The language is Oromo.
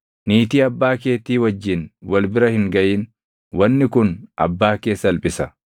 “ ‘Niitii abbaa keetii wajjin wal bira hin gaʼin; wanni kun abbaa kee salphisa.